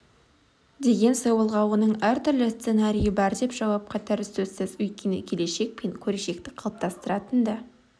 деген сауалға оның әртүрлі сценарийі бар деп жауап қатары сөзсіз өйткені келешек пен көрешекті қалыптастыратын да